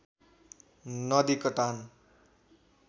नदी कटान